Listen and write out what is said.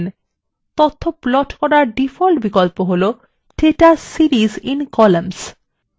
তথ্য প্লট করার ডিফল্ট বিকল্প হলো data series in columns